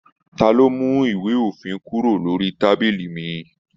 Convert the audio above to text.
Ta ló mú ìwé òfin kúrò lórí tábìlì mí?